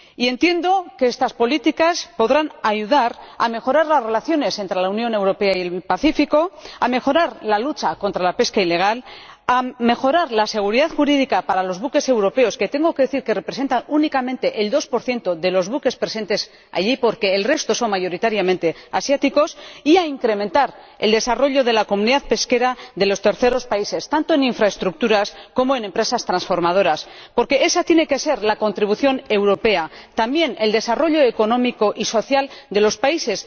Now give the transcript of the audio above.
Entiendo que estas políticas podrán ayudar a mejorar las relaciones entre la Unión Europea y el Pacífico, a mejorar la lucha contra la pesca ilegal, a mejorar la seguridad jurídica para los buques europeos —que tengo que decir que representan únicamente el 2 de los buques presentes allí, porque el resto son mayoritariamente asiáticos— y a incrementar el desarrollo de la comunidad pesquera de los terceros países, tanto en infraestructuras como en empresas transformadoras, porque esa tiene que ser la contribución europea también el desarrollo económico y social de esos países.